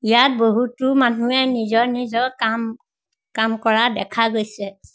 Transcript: ইয়াত বহুতো মানুহে নিজৰ নিজৰ কাম কাম কৰা দেখা গৈছে।